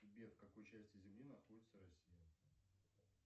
сбер в какой части земли находится россия